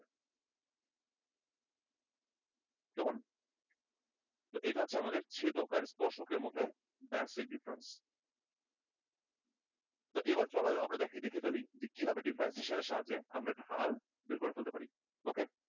কেমন? তো এইটা হচ্ছে আমাদের ছেদক ও স্পর্শক এর মধ্যে basic difference তো এবার চলো আমরা দেখে ফেলি কিভাবে differentiation এর সাহায্যে আমরা ঢাল বের করে ফেলতে পারি OK?